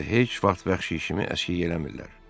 Onlar isə heç vaxt vəhşi kimi əskik eləmirlər.